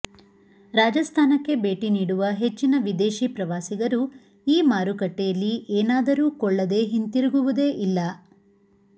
ರಾಜಸ್ಥಾನಕ್ಕೆ ಭೇಟಿ ನೀಡುವ ಹೆಚ್ಚಿನ ವಿದೇಶಿ ಪ್ರವಾಸಿಗರು ಈ ಮಾರುಕಟ್ಟೆಯಲ್ಲಿ ಏನಾದರೂ ಕೊಳ್ಳದ ಹಿಂತಿರುಗುವುದೆ ಇಲ್ಲ